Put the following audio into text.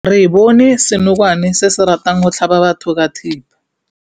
Re bone senokwane se se ratang go tlhaba batho ka thipa.